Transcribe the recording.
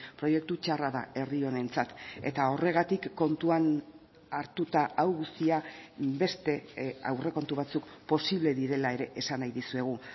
proiektu txarra da herri honentzat eta horregatik kontuan hartuta hau guztia beste aurrekontu batzuk posible direla ere esan nahi dizuegu